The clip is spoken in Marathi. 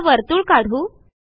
आता वर्तुळ काढू